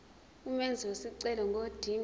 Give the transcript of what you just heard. umenzi wesicelo ngodinga